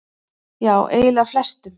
Já eiginlega flestum.